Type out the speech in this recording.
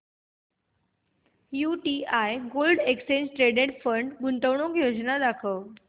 UTI gold exchange traded fund गुंतवणूक योजना दाखव